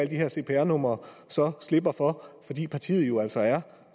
de her cpr numre så slipper for fordi partiet jo altså er